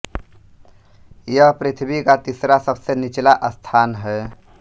यह पृथ्वी का तीसरा सबसे निचला स्थान है